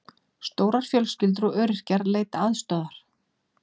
Stórar fjölskyldur og öryrkjar leita aðstoðar